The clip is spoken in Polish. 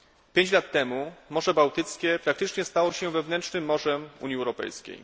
Pięć lat temu Morze Bałtyckie praktycznie stało się wewnętrznym morzem Unii Europejskiej.